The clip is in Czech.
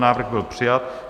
Návrh byl přijat,